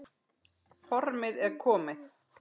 Formið er komið!